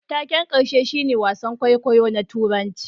Taken karshe shine wasan kwaikwayo na Turanci